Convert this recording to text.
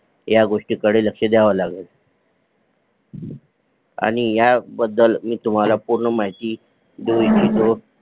ह्या गोष्टी कडे लक्ष द्यावा लागेल आणि ह्या बद्दल मी तुम्हाला पूर्ण माहिती देऊ इच्छितो